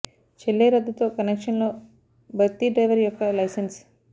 చెల్లే రద్దు తో కనెక్షన్ లో భర్తీ డ్రైవర్ యొక్క లైసెన్స్